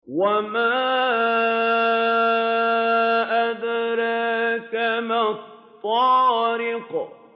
وَمَا أَدْرَاكَ مَا الطَّارِقُ